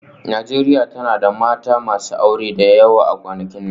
Najeriya tana da mata masu aure da yawa a kwanakin nan